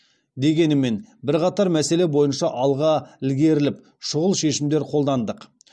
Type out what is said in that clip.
дегенімен бірқатар мәселе бойынша алға ілгеріліп шұғыл шешімдер қолдандық